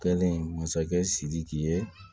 Kɛlen masakɛ sidiki ye